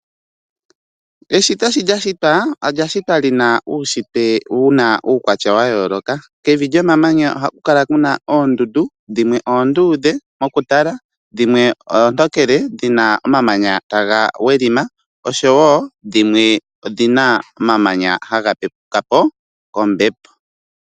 Oshito sho lya shitya olya shitwa li na uushitwe wuna uukwatya wa yooloka, kevi lyo mamanya ohaku kala kuna oondundu dhimwe oonduudhe moku tala dhimwe ootokele dhina omamanya taga wedhima oshowo dhimwe odhina omamanya haga pepuka po kombepo.